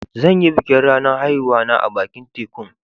Zan yi bikin ranan haihuwa na a'bakin tekun.